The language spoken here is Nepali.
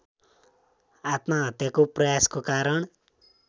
आत्महत्याको प्रयासको कारण